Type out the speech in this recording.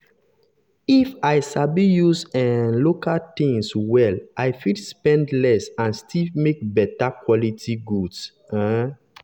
if if i sabi use um local things well i fit spend less and still make better quality goods. um